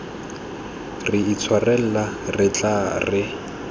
re itshwarela re tla re